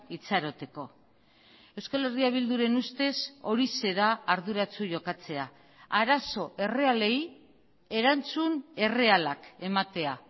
itxaroteko euskal herria bilduren ustez horixe da arduratsu jokatzea arazo errealei erantzun errealak ematea